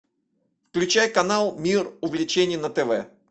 включай канал мир увлечений на тв